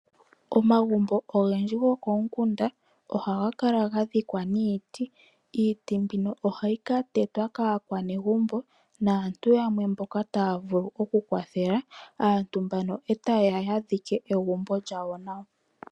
Omagumbo ogendji gokomikunda ohaga kala ga dhikwa niiti. Iiti mbino ohayi ka tetwa kaanegumbo naantu yamwe mboka taya vulu okukwathela aantu mbano e taye ya ya dhike egumbo lyawo nawa.